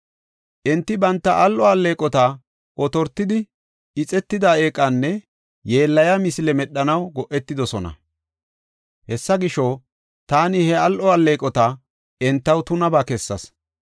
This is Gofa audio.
“Enti banta al7o alleeqota otortidi, ixetida eeqanne yeellayiya misile medhanaw go7etidosona. Hessa gisho, taani he al7o alleeqota entaw tunabaa kessas.